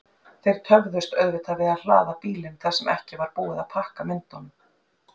Þeir töfðust auðvitað við að hlaða bílinn þar sem ekki var búið að pakka myndunum.